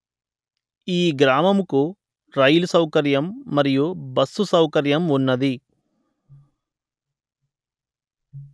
ఈ గ్రామము కు రైలు సౌకర్యం మరియు బస్సు సౌకర్యం ఉన్నది